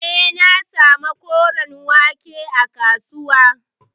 Eh, na samu koren wake a kasuwa.